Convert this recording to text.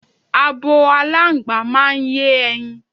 Abo aláǹgbá máa ń yé e̩yin.